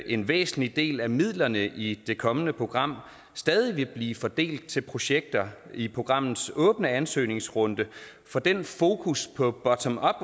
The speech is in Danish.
en væsentlig del af midlerne i det kommende program stadig vil blive fordelt til projekter i programmets åbne ansøgningsrunde for den fokus på bottomup